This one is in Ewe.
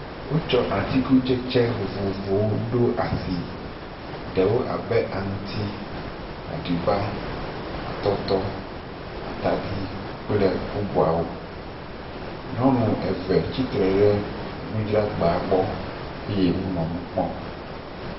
Wotsɔ atikutsetse vovovowo ɖo asi. Ɖewo abe; aŋtsi, aɖiba, atɔtɔ, atadi kple bbubuawo. Nyɔnu eve tsitre ɖe nudzragba gbɔ wo nɔ nu kpɔm.